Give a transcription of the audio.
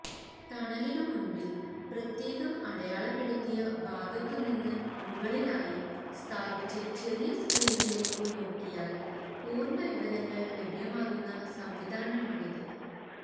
ടണലിനു മുന്പില് പ്രത്യേകം അടയാളപ്പെടുത്തിയ ഭാഗത്തുനിന്നു മുകളിലായി സ്ഥാപിച്ച ചെറിയ സ്ക്രീനിലേക്കു നോക്കിയാല് പൂര്ണവിവരങ്ങള് ലഭ്യമാകുന്ന സംവിധാനമാണിത്